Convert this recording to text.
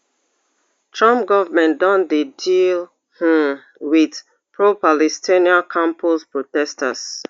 trump goment don dey deal um wit pro-palestinian campus protesters